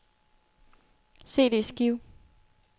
CD-skive